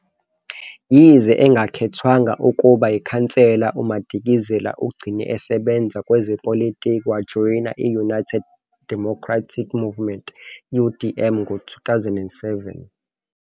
Yize engakhethwanga ukuba yikhansela, uMadikizela ugcine esebenza kwezepolitiki, wajoyina i- United Democratic Movement, UDM, ngo-2007.